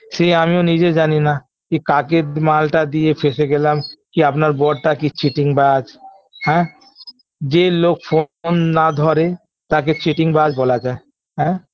ছি আমিও নিজে জানিনা যে কাকে মালটা দিয়ে ফেঁসে গেলাম কি আপনার বরটা কি চিটিংবাজ হ্যাঁ যে লোক phone না ধরে তাকে চিটিংবাজ বলা যায় হ্যাঁ